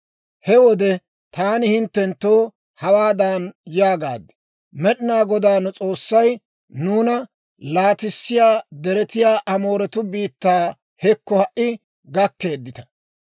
He wode taani hinttenttoo hawaadan yaagaad; ‹Med'inaa Godaa nu S'oossay nuuna laatissiyaa deretiyaa Amooretuu biittaa hekko ha"i gakkeeddita.